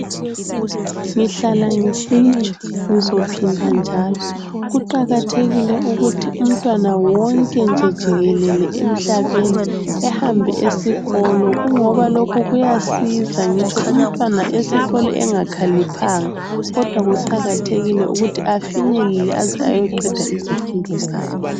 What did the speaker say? Ngihlala ngisitsho ngizophinda njalo kuqakathekile ukuthi umntwana wonke nje jikelele emhlabeni ehambe esikolo kungoba lokhu kuyasiza ngitsho umntwana esikolo engakhaliphanga kodwa kuqakathekile ukuthi afinyelele aze ayoqeda izifundo zakhe.